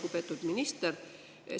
Lugupeetud minister!